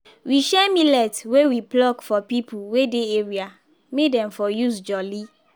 we share millet wey we pluck for people wey dey area may dem for use jolly